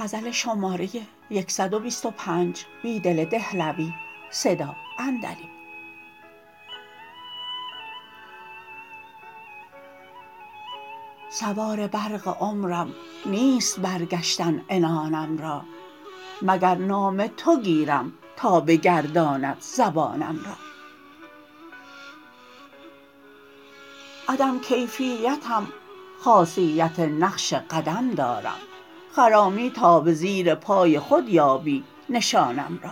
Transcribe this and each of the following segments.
سوار برق عمرم نیست برگشتن عنانم را مگر نام تو گیرم تا بگرداند زبانم را عدم کیفیتم خاصیت نقش قدم دارم خرامی تا به زیرپای خود یابی نشانم را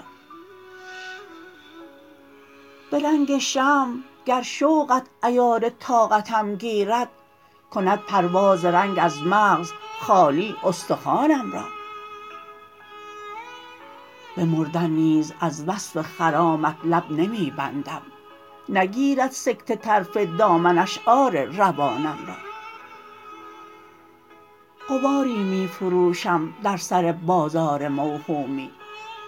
به رنگ شمع گر شوقت عیار طاقتم گیرد کند پرواز رنگ از مغز خالی استخوانم را به مردن نیز از وصف خرامت لب نمی بندم نگیرد سکته طرف دامن اشعار روانم را غباری می فروشم در سر بازار موهومی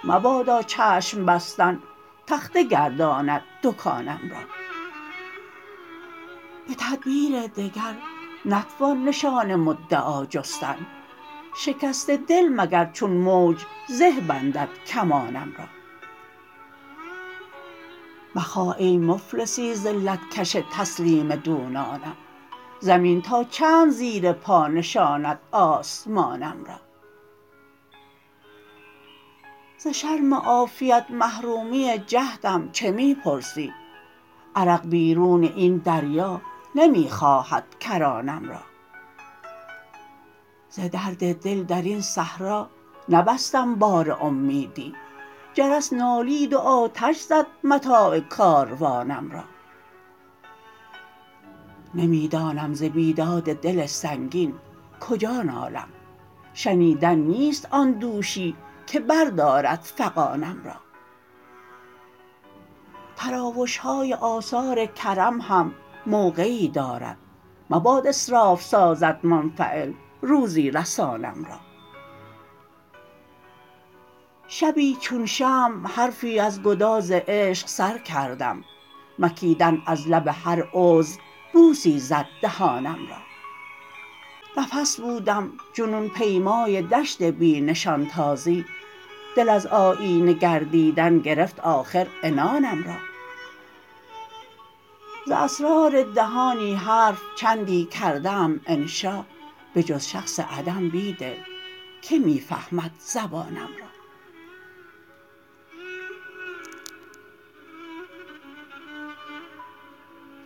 مبادا چشم بستن تخته گرداند دکانم را به تدبیر دگر نتوان نشان مدعا جستن شکست دل مگر چون موج زه بندد کمانم را مخواه ای مفلسی ذلت کش تسلیم دونانم زمین تا چند زیر پا نشاند آسمانم را ز شرم عافیت محرومی جهدم چه می پرسی عرق بیرون این دریا نمی خواهد کرانم را ز درد دل در این صحرا نبستم بار امیدی جرس نالید و آتش زد متاع کاروانم را نمی دانم ز بیداد دل سنگین کجا نالم شنیدن نیست آن دوشی که بردارد فغانم را تراوش های آثار کرم هم موقعی دارد مباد اسراف سازد منفعل روزی رسانم را شبی چون شمع حرفی از گداز عشق سر کردم مکیدن از لب هر عضو بوسی زد دهانم را نفس بودم جنون پیمای دشت بی نشان تازی دل از آیینه گردیدن گرفت آخر عنانم را ز اسرار دهانی حرف چندی کرده ام انشا به جز شخص عدم بیدل که می فهمد زبانم را